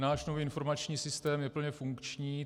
Náš nový informační systém je plně funkční.